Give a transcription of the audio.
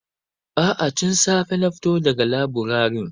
A'a, tun safe na fito da ga laburaren.